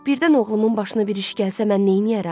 Birdən oğlumun başına bir iş gəlsə mən neyniyərəm?